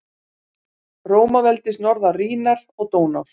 Rómaveldis norðan Rínar og Dónár.